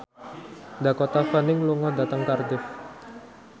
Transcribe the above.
Dakota Fanning lunga dhateng Cardiff